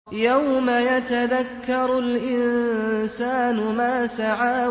يَوْمَ يَتَذَكَّرُ الْإِنسَانُ مَا سَعَىٰ